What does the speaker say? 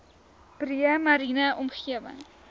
breë mariene omgewing